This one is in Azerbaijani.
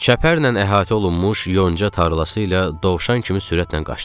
Çəpərlə əhatə olunmuş yonca tarlası ilə Dovşan kimi sürətlə qaçdım.